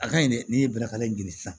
A kaɲi dɛ n'i ye bɛnɛkare ɲini sisan